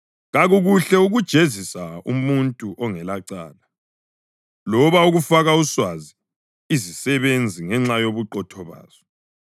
Kakukuhle ukujezisa umuntu ongelacala, loba ukufaka uswazi izisebenzi ngenxa yobuqotho bazo.